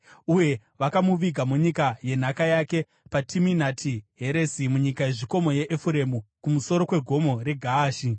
Uye vakamuviga munyika yenhaka yake, paTiminati Heresi munyika yezvikomo yeEfuremu, kumusoro kweGomo reGaashi.